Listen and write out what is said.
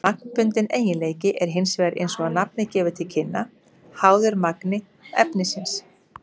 Magnbundinn eiginleiki er hins vegar, eins og nafnið gefur til kynna, háður magni efnisins.